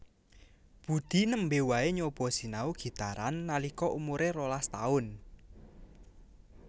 Budi nembe wae nyoba sinau gitaran nalika umuré rolas taun